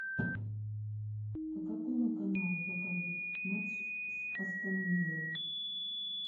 по какому каналу покажут матч с астон виллой